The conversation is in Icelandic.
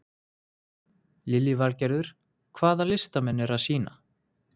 Lillý Valgerður: Hvaða listamenn eru að sýna?